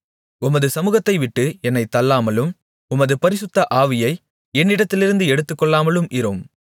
உமது சமுகத்தை விட்டு என்னைத் தள்ளாமலும் உமது பரிசுத்த ஆவியை என்னிடத்திலிருந்து எடுத்துக்கொள்ளாமலும் இரும்